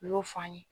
U y'o fɔ an ye